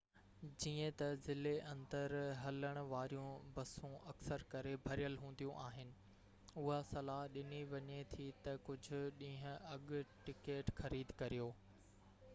جيئن ته ضلعي-اندر هلڻ واريون بسون اڪثر ڪري ڀريل هونديون آهن اها صلاح ڏني وڃي ٿي ته ڪجهه ڏينهن اڳ ٽڪيٽ خريد ڪريو